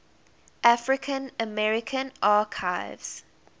african american archives